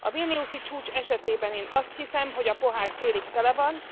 A vilniusi csúcs esetében én azt hiszem, hogy a pohár félig tele van.